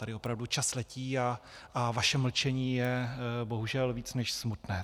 Tady opravdu čas letí a vaše mlčení je bohužel víc než smutné.